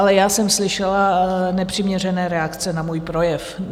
Ale já jsem slyšela nepřiměřené reakce na můj projev.